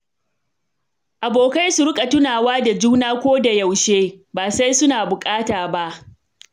Abokai su riƙa tunawa da juna a koda yaushe, ba sai suna bukata ba.